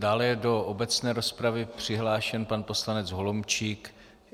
Dále je do obecné rozpravy přihlášen pan poslanec Holomčík.